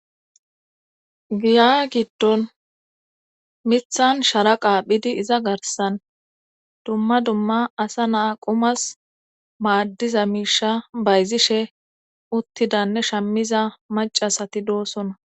Giya giddon mithan sharaqa phidi iza garsan dumma dumma asa naa qumas maaddiza miisha bayzishe uttidanne shammiza macasati doosona